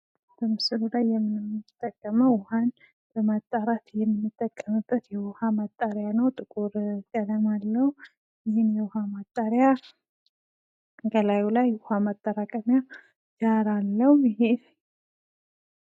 በምስሉ ላይ የምንጠቀመው ውሀን ለማጣራት የምንጠቀመው የውሃ ማጣሪያ ነው ጥቁር ቀለም አለው። ይህም የውሃ ማጣሪያ ከላይ የውኃ ማጠራቀሚያ ጃር አለው።